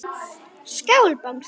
Skál Bangsi.